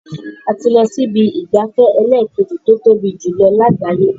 A ti lọ sí ibi ìgbafẹ́ ẹlẹ́ẹ̀kejì tó tóbi jùlọ lágbàáyé.